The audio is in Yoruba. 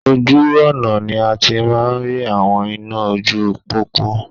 Ojú ọ̀nà ni a ti máa ń rí àwọn iná ojú pópó